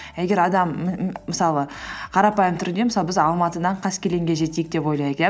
а егер адам мысалы қарапайым түрде мысалы біз алматыдан қаскелеңге жетейік деп ойлайық иә